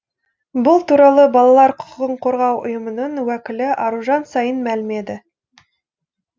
бұл туралы балалар құқығын қорғау ұйымының уәкілі аружан саин мәлімдеді